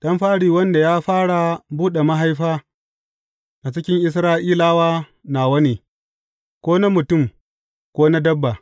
Ɗan fari wanda ya fara buɗe mahaifa a cikin Isra’ilawa nawa ne, ko na mutum ko na dabba.